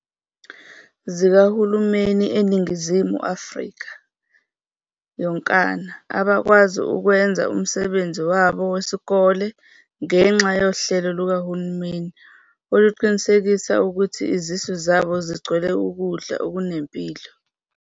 .zikahulumeni eNingizimu Afrika yonkana abakwazi ukwenza umsebenzi wabo wesikole ngenxa yohlelo lukahulumeni oluqinisekisa ukuthi izisu zabo zigcwele ukudla okunempilo.